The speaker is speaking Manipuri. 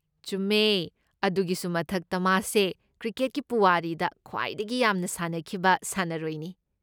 ꯆꯨꯝꯃꯦ꯫ ꯑꯗꯨꯒꯤꯁꯨ ꯃꯊꯛꯇ ꯃꯥꯁꯦ ꯀ꯭ꯔꯤꯀꯦꯠꯀꯤ ꯄꯨꯋꯥꯔꯤꯗ ꯈ꯭ꯋꯥꯏꯗꯒꯤ ꯌꯥꯝꯅ ꯁꯥꯟꯅꯈꯤꯕ ꯁꯥꯟꯅꯔꯣꯏꯅꯤ꯫